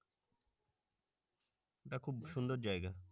খুব সুন্দর জায়গা